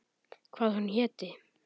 Hvað hún héti.